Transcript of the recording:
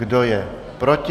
Kdo je proti?